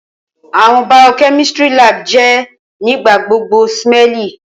Awọn biochemistry lab jẹ nigbagbogbo smelly.